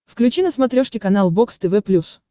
включи на смотрешке канал бокс тв плюс